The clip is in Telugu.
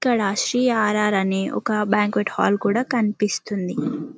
ఇక్కడ ఆశీ అ.ర్అర్ అని ఒక బంక్యూట్ హాల్ కూడా కన్పిస్తుంది .